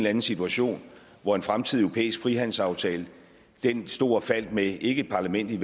anden situation hvor en fremtidig europæisk frihandelsaftale stod og faldt med ikke et parlament i